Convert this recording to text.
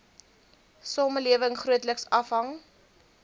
samelewing grootliks afhang